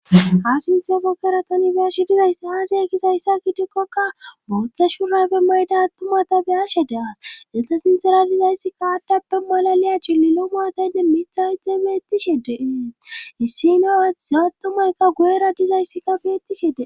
ha sinthe gokkeratanibeashi dizayssi haase kisayssa gidekkoka bootha shuraybe mayda attumatabe ashe dea exa sinxera dizayssi kaadappe malaliya chillilo maataynne mitha hidxe beettishide issi no aza attumaykka guyera dizayssikka beettishede